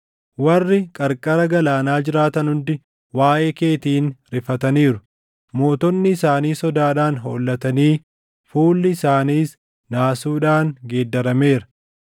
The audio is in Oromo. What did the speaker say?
Warri qarqara galaanaa jiraatan hundi waaʼee keetiin rifataniiru; mootonni isaanii sodaadhaan hollatanii fuulli isaaniis naasuudhaan geeddarameera.